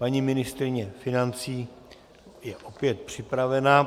Paní ministryně financí je opět připravena.